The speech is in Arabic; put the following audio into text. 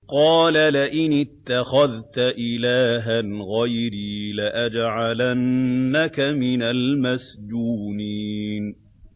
قَالَ لَئِنِ اتَّخَذْتَ إِلَٰهًا غَيْرِي لَأَجْعَلَنَّكَ مِنَ الْمَسْجُونِينَ